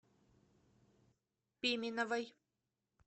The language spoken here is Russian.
пименовой